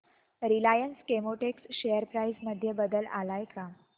Reliance Chemotex share price मध्ये बदल आलाय का